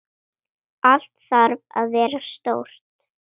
Allt þarf að vera stórt.